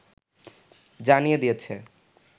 জানিয়ে দিয়েছে